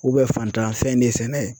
faantanfɛn de sɛnɛ